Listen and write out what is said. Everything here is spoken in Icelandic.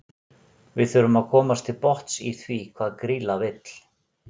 Við þurfum að komast til botns í því hvað Grýla vill.